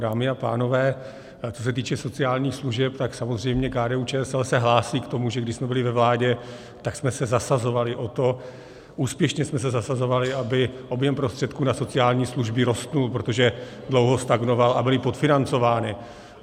Dámy a pánové, co se týče sociálních služeb, tak samozřejmě KDU-ČSL se hlásí k tomu, že když jsme byli ve vládě, tak jsme se zasazovali o to, úspěšně jsme se zasazovali, aby objem prostředků na sociální služby rostl, protože dlouho stagnoval a byly podfinancovány.